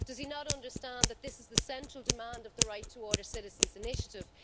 Does he not understand that this is the central demand of the Right2Water citizens' initiative?